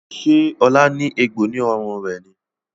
Ṣe Ola ní egbò ní ọrùn rẹ ní?